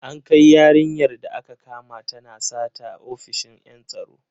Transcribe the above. An kai yarinyar da aka kama tana sata ofishin en tsaro.